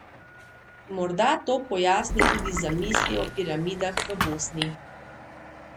Morda to pojasni tudi zamisli o piramidah v Bosni.